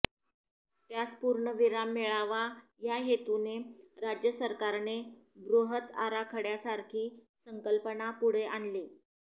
त्यास पूर्णविराम मिळावा या हेतूने राज्य सरकारने बृहत आराखड्यासारखी संकल्पना पुढे आणली